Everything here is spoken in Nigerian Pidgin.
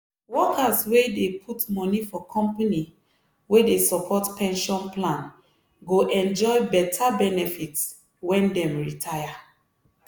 workers wey dey put money for company wey dey support pension plan go enjoy beta benefit when dem retire.